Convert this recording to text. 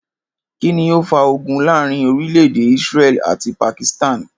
Kí ni ó fa ogun láàárín orílè̩-èdè Israel àti Pakistan?